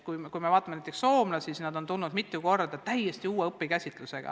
Kui me vaatame näiteks soomlasi, siis näeme, et nad on mitu korda välja tulnud täiesti uue õpikäsitlusega.